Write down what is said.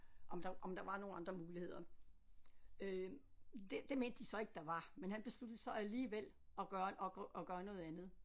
Om der om der var nogle andre muligheder øh det det mente de så ikke der var men han besluttede så alligevel at gøre en at gøre noget andet